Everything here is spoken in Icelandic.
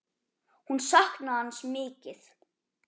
Hún saknaði hans mikið.